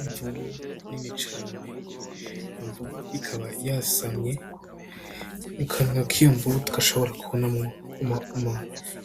Imvubu nini cane, imvubu ikaba yasamye. Mu kanwa k'iyo mvubu tugashobora kubona